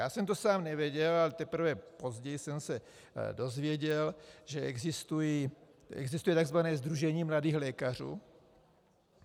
Já jsem to sám nevěděl, ale teprve později jsem se dozvěděl, že existuje tzv. sdružení mladých lékařů.